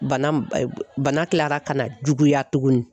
Bana bana kilara ka na juguya tugunni.